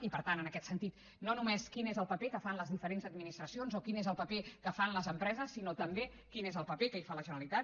i per tant en aquest sentit no només quin és el paper que fan les diferents administracions o quin és el paper que fan les empreses sinó també quin és el paper que hi fa la generalitat